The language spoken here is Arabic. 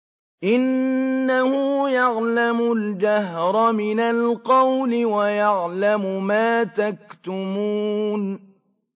إِنَّهُ يَعْلَمُ الْجَهْرَ مِنَ الْقَوْلِ وَيَعْلَمُ مَا تَكْتُمُونَ